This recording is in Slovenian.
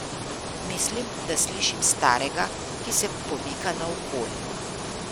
Mislim, da slišim starega, ki se pomika naokoli.